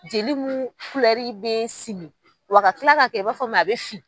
Jeli mun bɛ simi wa ka kila ka kɛ i b'a fɔ min a bɛ fin.